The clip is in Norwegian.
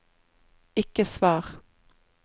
ikke svar